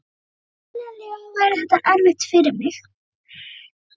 Skiljanlega væri þetta erfitt fyrir mig.